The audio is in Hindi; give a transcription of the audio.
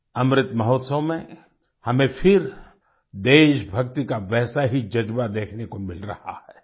अमृत महोत्सव में हमें फिर देशभक्ति का वैसा ही जज़्बा देखने को मिल रहा है